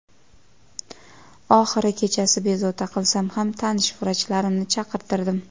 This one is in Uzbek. Oxiri kechasi bezovta qilsam ham tanish vrachlarimni chaqirtirdim.